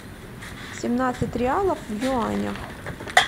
семнадцать реалов в юанях